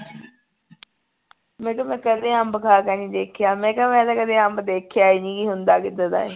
ਮੈਂ ਕਿਹਾ ਮੈਂ ਕਦੇ ਅੰਬ ਖਾ ਕੇ ਨਹੀਂ ਦੇਖਿਆ ਮੈਂ ਕਿਹਾ ਮੈਂ ਤਾਂ ਕਦੇ ਅੰਬ ਦੇਖਿਆ ਈ ਨਹੀਂ ਹੁੰਦਾ ਕਿੱਦਾਂ ਦਾ ਹੈ